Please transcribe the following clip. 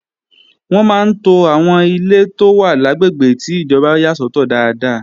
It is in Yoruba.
Wọ́n máa ń to àwọn ilé tó wà lágbègbè ti ìjọba yà sọ́tọ̀ dáadáa.